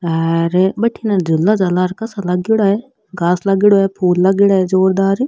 बथीने झूला झालार कासा लागेड़ा है घास लागेड़ो है फूल लागेड़ा है जोरदार।